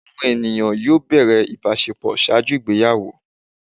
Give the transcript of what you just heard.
Awọn eniyan yoo bẹrẹ ibaṣepọ ṣaaju igbeyawo